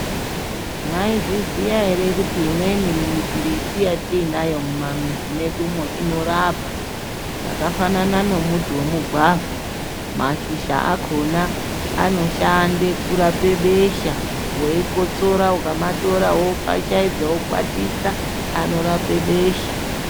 Maizviziya here kuti imweni miti yatinayo mumamizi medumo inorapa zvakafanana nemuti wemugwavha mashizha akona anoshande kurape besha weikotsora ukamatora wofashaidza wokwatisa anorape besha .